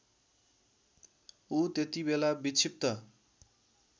ऊ त्यतिबेला विक्षिप्त